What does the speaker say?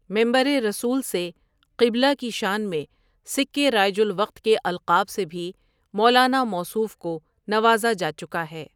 ممبررسولؐ سے قبلہ کی شان میں سکّے رائج الوقت کے القاب سے بھی مولانا موصوف کو نوازا جا چکا ہے ۔